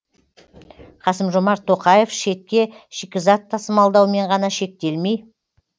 қасым жомарт тоқаев шетке шикізат тасымалдаумен ғана шектелмей